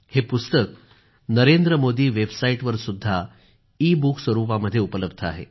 हे पुस्तक नरेंद्र मोदी वेबसाईट वरसु़द्धा ईबूक स्वरूपामध्ये उपलब्ध आहे